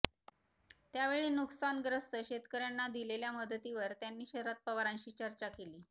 त्यावेळी नुकसानग्रस्त शेतकऱ्यांना दिलेल्या मदतीवर त्यांनी शरद पवारांशी चर्चा केली